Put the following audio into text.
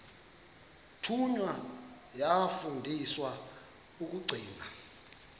thunywa yafundiswa ukugcina